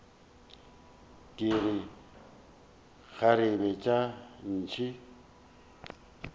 ke re kgarebe tša ntshe